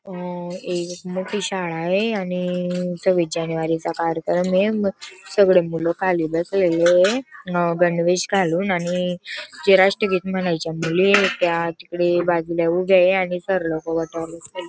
आ एक मोठी शाळाये आणि सव्वीस जानेवारीचा कार्यक्रमय सगळे मूल खाली बसलेलेय. गणवेश घालून आणि जे राष्ट्रगीत म्हणायच्या मुलीयेत त्या तिकडे बाजूला उभ्याय आणि सर लोक --